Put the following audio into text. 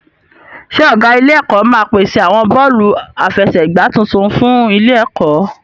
Ṣé ọ̀gá ilé-ẹ̀kọ́ máa pèsè àwọn bọ́ọ̀lù aláfẹsẹ̀gbá tuntun fún ilé-ẹ̀kọ́?